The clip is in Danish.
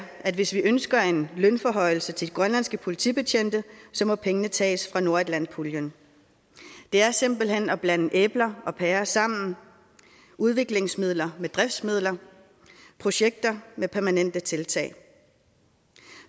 at hvis vi ønsker en lønforhøjelse til de grønlandske politibetjente må pengene tages fra nordatlantpuljen det er simpelt hen at blande æbler og pærer sammen udviklingsmidler med driftsmidler projekter med permanente tiltag